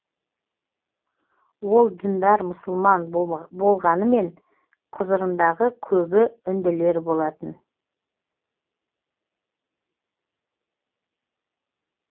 ол діндар мұсылман болғанымен құзырындағы көбі үнділер болатын